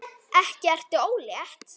Ekki ertu ólétt?